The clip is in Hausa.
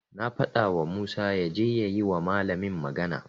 Na fadawa Musa yaje ya yi wa malamin magana.